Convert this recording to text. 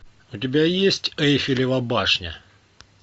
у тебя есть эйфелева башня